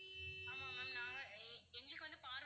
ஆமா ma'am நாங்க எங்களுக்கு வந்து பார்வதி